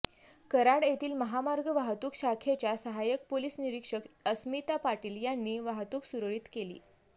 कराड येथील महामार्ग वाहतूक शाखेच्या सहायक पोलिस निरीक्षक अस्मिता पाटील यांनी वाहतूक सुरळीत केली